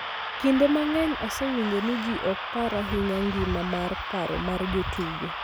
Kinde mang�eny, asewinjo ni ji ok par ahinya ngima mar paro mar jotugo,